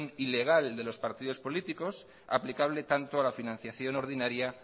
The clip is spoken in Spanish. ilegal de los partidos políticos aplicable tanto a la financiación ordinario